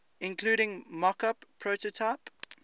including mockup prototype